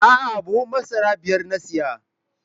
A'a, buhun masara biyar na siya.